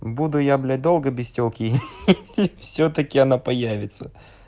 буду я блять долго без телки и ха-ха всё-таки она появится